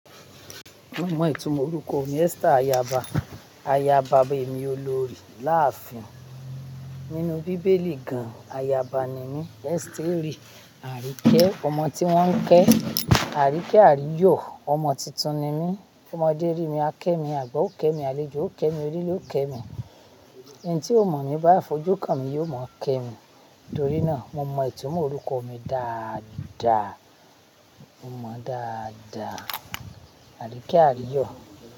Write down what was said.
Mo mọ ìtumọ̀ orúkọ mi Esther Ayaba. Ayaba bí èmi olorì láàfin. Nínú bíbélì gan, ayaba ni mí. Esther rí Àríkẹ́, ọmọ tí wọ́n ń kẹ́. Àríkẹ́ àríyọ̀ ọmọ titun ni mí. Ọmọdé rí mi, a kẹ́ mi, àgbà ó kẹ́ mi, àlejò ó kẹ́ mi, onílé ó kẹ́ mi. Ẹni tí ó mọ̀ mí bá fojú kan mi yóò mọ̀ kẹ́ mi. Nítorí náà mo mọ ìtumọ̀ orúkọ mi dáadáa. Mo mọ dáadáa, àríkẹ́ àríyọ̀.